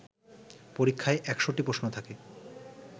পরীক্ষায় ১০০টি প্রশ্ন থাকে